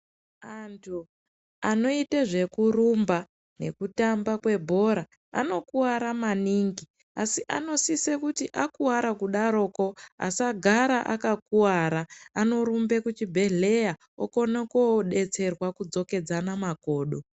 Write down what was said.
Antu anoite zvekurumba nekutamba kwebhora anokuwara maningi asi anosise kuti akuwara kudaroko asagara akakuwara anorumbe kuchibhehleya okone kodetserwa kudzokedzana makodo.